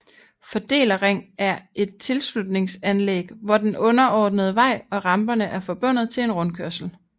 Fordelerring er et tilslutningsanlæg hvor den underordnede vej og ramperne er forbundet til en rundkørsel